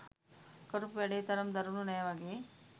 කරපු වැඩේ තරම් දරුණු නෑ වගේ